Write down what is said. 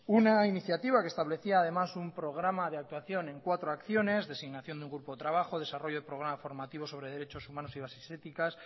una iniciativa que establecía además un programa de actuación en cuatro acciones designación de un grupo de trabajo desarrollo de programa formativo sobre derechos humanos y bases éticas